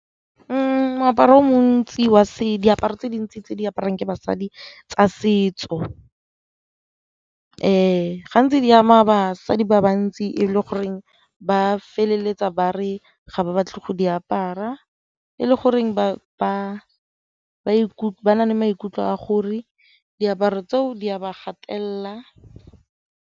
Moaparo o montsi wa , diaparo tse dintsi tse di apariwang ke basadi tsa setso gantsi di ama basadi ba ba ntsi e le goreng ba a feleletsa ba re ga ba batle go di apara, e le goreng ba na le maikutlo a gore diaparo tseo di a ba gatelela.